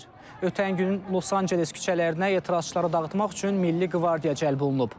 Ötən gün Los Anceles küçələrinə etirazçıları dağıtmaq üçün milli qvardiya cəlb olunub.